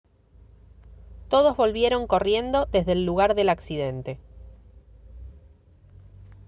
todos volvieron corriendo desde el lugar del accidente